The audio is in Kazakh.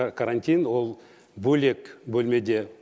карантин ол бөлек бөлмеде